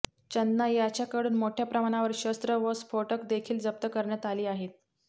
चन्ना याच्याकडून मोठ्याप्रमाणावर शस्त्र व स्फोटक देखील जप्त करण्यात आली आहेत